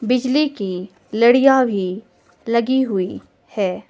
बिजली की लड़ियां भी लगी हुई है।